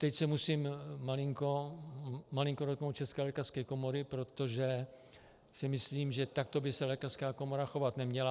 Teď se musím malinko dotknout České lékařské komory, protože si myslím, že takto by se lékařská komora chovat neměla.